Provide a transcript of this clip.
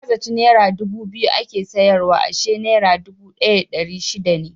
Na zaci nera dubu biyu ake siyarwa ashe nera dubu ɗaya da ɗari shida ne.